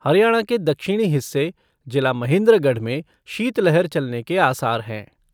हरियाणा के दक्षिणी हिस्से, जिला महेन्द्रगढ़ में शीत लहार चलने के आसार हैं।